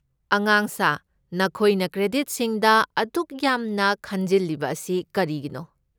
ꯑꯉꯥꯡꯁꯥ, ꯅꯈꯣꯏꯅ ꯀ꯭ꯔꯦꯗꯤꯠꯁꯤꯡꯗ ꯑꯗꯨꯛ ꯌꯥꯝꯅ ꯈꯟꯖꯤꯜꯂꯤꯕ ꯑꯁꯤ ꯀꯔꯤꯒꯤꯅꯣ?